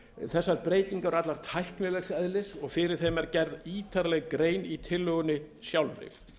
þessar breytingar eru allar tæknilegs eðlis og fyrir þeim er gerð ítarleg grein í tillögunni sjálfri